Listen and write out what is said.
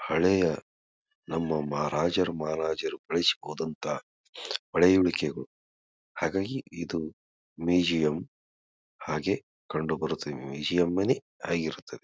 ಹಳೆಯ ನಮ್ಮ ಮಹಾರಾಜರು ಮಹಾರಾಜರು ಉಳಿಸಿ ಹೋದಂತ ಪಳೆಯುಳಿಕೆಗಳು ಹಾಗಾಗಿ ಇದು ಮ್ಯೂಸಿಯಂ ಹಾಗೆ ಕಂಡು ಬರುತ್ತದೆ. ಮ್ಯೂಸಿಯಂ ನೇ ಮ್ಯೂಸಿಯಂ ಆಗಿರುತ್ತದೆ.